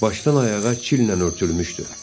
Başdan ayağa çillə örtülmüşdü.